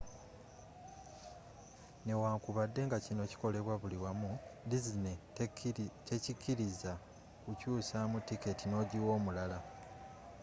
newankubadde nga kino kikolebwa buli wamu disney tekikiliza kukyusamu tiketi n'ogiwa omulala